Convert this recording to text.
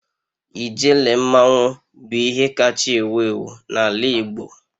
Ijele mmanwu bụ ihe kacha ewu ewu n'ala igbo.